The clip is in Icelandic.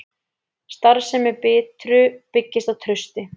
Starfsemi Bitru byggist á trausti